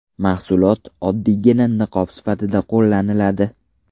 Mahsulot oddiygina niqob sifatida qo‘llaniladi.